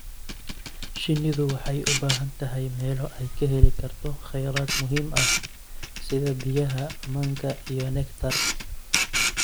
Shinnidu waxay u baahan tahay meelo ay ka heli karto kheyraad muhiim ah sida biyaha, manka, iyo nectar.